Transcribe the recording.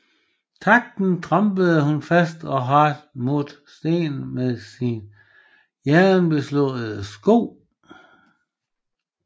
Takten trampede hun fast og hardt mot stenen med sine jernbeslåede sko